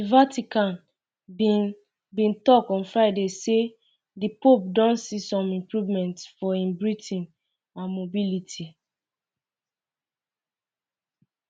di vatican um bin um bin tok on friday say di pope don see some improvements for im breathing um and mobility